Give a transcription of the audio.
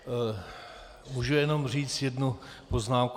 Můžu jenom říct jednu poznámku?